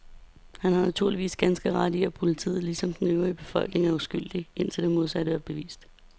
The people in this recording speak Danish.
Han har naturligvis har ganske ret i, at politiet ligesom den øvrige befolkning er uskyldig, indtil det modsatte er bevist.